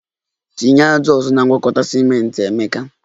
Tinye ájá ọzọ na ngwakọta ciment, emeka